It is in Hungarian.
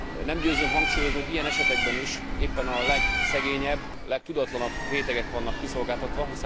Nem győzöm hangsúlyozni, hogy ilyen esetekben is éppen a legszegényebb, legtudatlanabb rétegek vannak kiszolgáltatva.